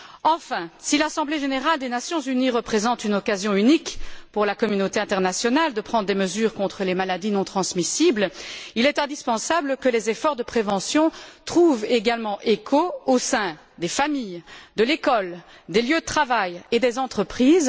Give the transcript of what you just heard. Enfin, si l'Assemblée générale des Nations unies offre à la communauté internationale une occasion unique de prendre des mesures contre les maladies non transmissibles, il est indispensable que les efforts de prévention trouvent également écho au sein des familles, de l'école, des lieux de travail et des entreprises.